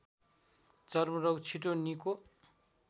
चर्मरोग छिटो निको